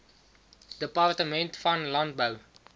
departement van landbou